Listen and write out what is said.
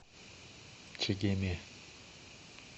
чегеме